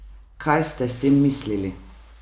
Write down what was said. Kaj ste s tem mislili?